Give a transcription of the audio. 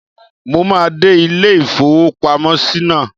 Mo máa dé ilé-ìfowópamọ́sí náà.